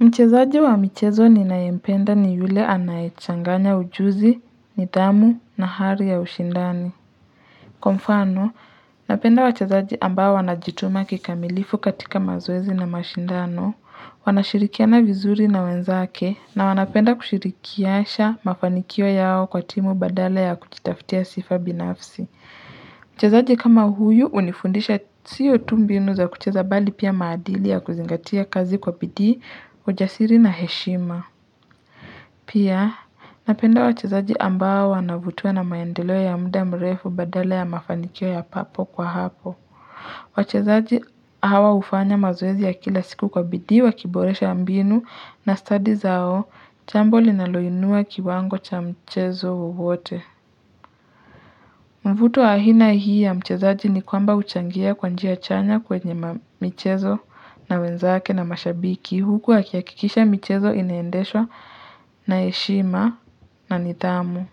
Mchezaji wa michezo ninayempenda ni yule anaye changanya ujuzi, nidhamu na hali ya ushindani. Kwa mfano, napenda wachezaji ambao wanajituma kikamilifu katika mazoezi na mashindano, wanashirikiana vizuri na wenzake, na wanapenda kushirikiasha mafanikio yao kwa timu badala ya kujitafutia sifa binafsi. Mchezaji kama huyu hunifundisha siyo tu mbinu za kucheza bali pia maadili ya kuzingatia kazi kwa bidhii, ujasiri na heshima. Pia napenda wachezaji ambao wanavutiwa na maendeleo ya mda mrefu badala ya mafanikio ya hapo kwa hapo. Wachezaji hawa hufanya mazoezi ya kila siku kwa bidhii wa kiboresha mbinu na stadi zao jambo linaloinua kiwango cha mchezo wowote. Mvuto wa aina hii ya mchezaji ni kwamba huchangia kwanjia chanya kwenye michezo na wenzake na mashabiki. Huku wa akihakikisha michezo inaendeshwa na heshima na nidhamu.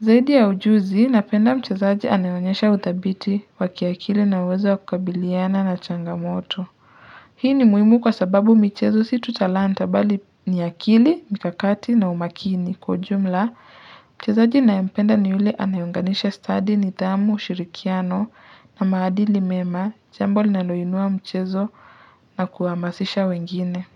Zaidi ya ujuzi, napenda mchezaji anayeonyesha utabiti wa kiakili na uwezo wakakabiliana na changamoto. Hii ni muhimu kwa sababu michezo situ talanta bali niakili, mikakati na umakini. Kwa ujumla, mchezaji ninaye mpenda ni yule anaye unganisha stadi nidhamu ushirikiano na maadili mema, jambo linaloinua mchezo na kuhamasisha wengine.